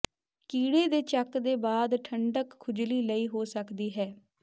ਕੀੜੇ ਦੇ ਚੱਕ ਦੇ ਬਾਅਦ ਠੰਢਕ ਖੁਜਲੀ ਲਈ ਹੋ ਸਕਦੀ ਹੈ